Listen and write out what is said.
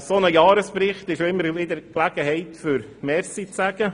Ein solcher Jahresbericht ist auch immer eine Gelegenheit, Danke zu sagen.